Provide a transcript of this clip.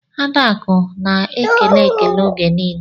Adaku na ekele ekele oge nile.